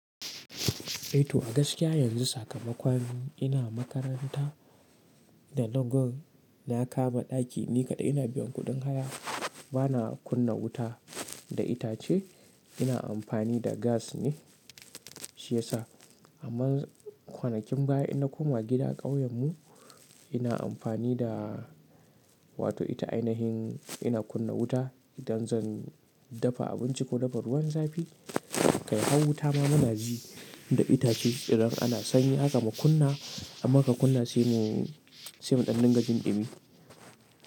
Eh to a gaskiya yanzu sakamakon ina makaranta da Legon na kama ɗaki ni kaɗai ina biyan kuɗin haya bana kunna wuta da itace ina amfani da gas ne shi yasa amma kwanakin baya ina koma gida ƙauyen mu ina amfani da wato ita ainihin ina kunna wuta idan zan dafa abinci ko dafa ruwan zafi kai har wuta ma muna ji da itace idan ana sanyi haka mu kunna amma ka kunna sai mu ɗannin gajin ɗibimi.